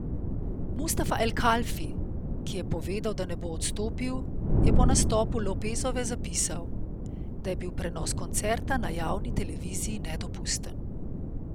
Mustafa El Kalfi, ki je povedal, da ne bo odstopil, je po nastopu Lopezove zapisal, da je bil prenos koncerta na javni televiziji nedopusten.